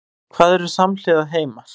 Hvað eru samhliða heimar?